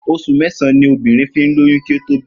Os̩ù mé̩sàn-án ni obìnrin fi ń lóyún kí ó tó bímo̩